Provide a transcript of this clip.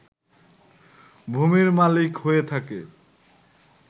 ভূমির মালিক হয়ে থাকে